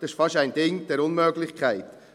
Das ist fast ein Ding der Unmöglichkeit.